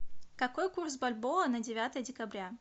какой курс бальбоа на девятое декабря